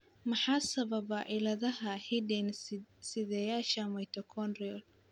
Maxaa sababa cilladaha hidde-sideyaasha mitochondrial?